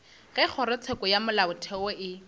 ge kgorotsheko ya molaotheo e